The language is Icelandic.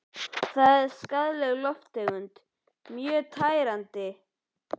Það er skaðleg lofttegund og mjög tærandi.